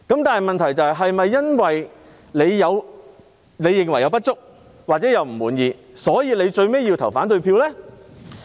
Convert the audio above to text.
但問題是，是否因為某人認為有不足或感到不滿，所以最後便要投反對票？